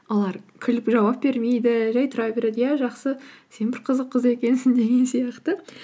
олар күліп жауап бермейді жай тұра береді иә жақсы сен бір қызық қыз екенсің деген сияқты